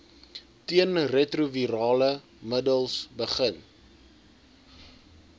teenretrovirale middels begin